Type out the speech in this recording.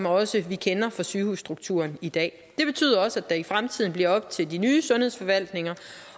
også kender fra sygehusstrukturen i dag det betyder også at det i fremtiden bliver op til de nye sundhedsforvaltninger